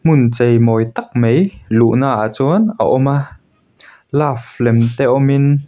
hmun cheimawi tak mai luhna ah chuan a awm a love lem te awm in--